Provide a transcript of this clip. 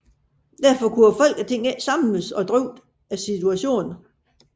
Derfor kunne Folketinget ikke samles og drøfte situationen